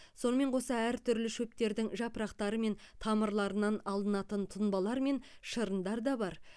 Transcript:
сонымен қоса әртүрлі шөптердің жапырақтары мен тамырларынан алынатын тұнбалар мен шырындар да бар